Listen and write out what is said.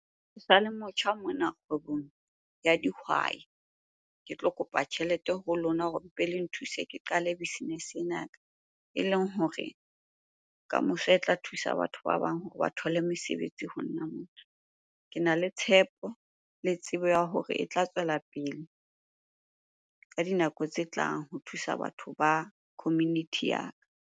Ke sa le motjha mona kgwebong ya dihwai. Ke tlo kopa tjhelete ho lona hore mpe le nthuse ke qale business-e ena ya ka eleng hore ka moso e tla thusa batho ba bang hore ba thole mesebetsi ho nna mona. Kena le tshepo le tsebo ya hore e tla tswela pele ka dinako tse tlang ho thusa batho ba community ya ka.